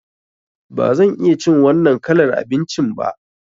Ba zan iya cin wannan kalar abincin ba.